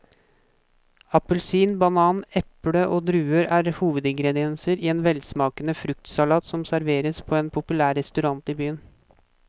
Appelsin, banan, eple og druer er hovedingredienser i en velsmakende fruktsalat som serveres på en populær restaurant i byen.